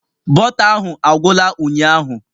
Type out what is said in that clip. Bọta ahụ agwụla ụnyahụ